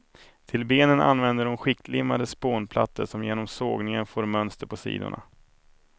Till benen använder hon skiktlimmade spånplattor som genom sågningen får mönster på sidorna.